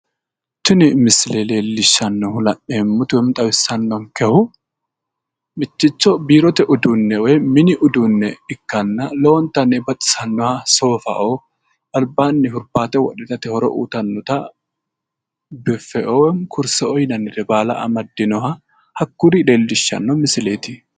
Tini misile leellishannohu xawissanonkehu mitto biirote woyi mini uduunne ikkitanna lowontanni baxisannoha soofa albaanni hurbaate wodhine itate horo uyiitannote biffeoo kurseoo lawinore hakkuri leellishshano misileetis.